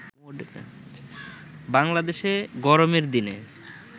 বাংলাদেশে গরমের দিনে